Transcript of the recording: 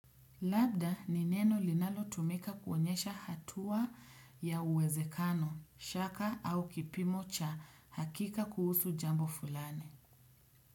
Labda ni neno linalotumika kuonyesha hatua ya uwezekano, shaka au kipimo cha hakika kuhusu jambo fulani.